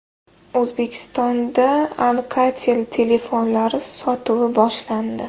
O‘zbekistonda Alcatel telefonlari sotuvi boshlandi.